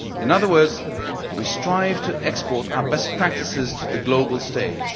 In other words, we strive to export our best practices to the global stage.